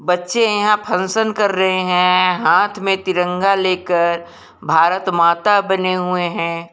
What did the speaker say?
बच्चे यहां फंक्शन कर रहे हैं हाथ में तिरंगा लेकर भारत माता बने हुए हैं।